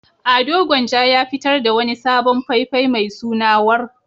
Ado Gwanja ya fitar da wani sabon fai-fai mai suna "War".